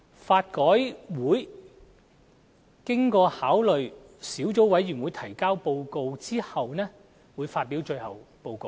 法改會經考慮小組委員會提交的報告後，會發表最後報告。